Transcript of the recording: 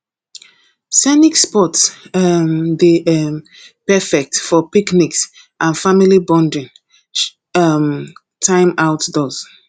scenic spots um dey um perfect for picnics and family bonding um time outdoors